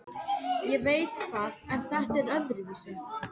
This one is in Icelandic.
Ég veit það en þetta var öðruvísi.